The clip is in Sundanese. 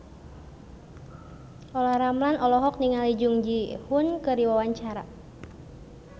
Olla Ramlan olohok ningali Jung Ji Hoon keur diwawancara